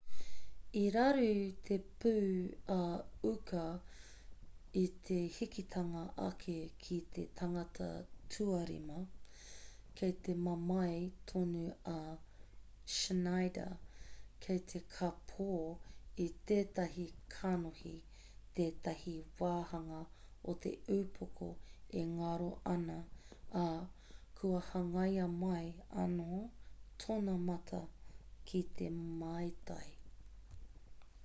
i raru te pū a uka i te hikitanga ake ki te tangata tuarima kei te mamae tonu a schneider kei te kāpō i tētahi kanohi tētahi wāhanga o te ūpoko e ngaro ana ā kua hangaia mai anō tōna mata ki te maitai